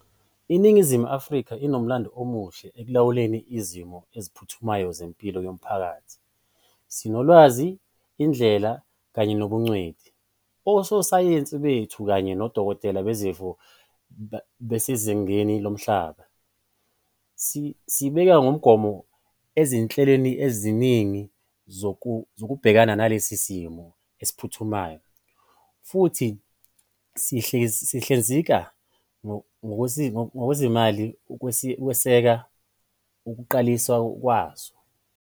INingizimu Afrika inomlando omuhle ekulawuleni izimo eziphuthumayo zempilo yomphakathi. Sinolwazi, indlela kanye nobungcweti. Ososayensi bethu kanye nodokotela bezifo basezingeni lomhlaba. Sibeke ngomumo izinhleloeziningi zokubhekana nalesi simo esiphuthumayo, futhi sizohlinzeka ngosizomali ukweseka ukuqaliswa kwazo.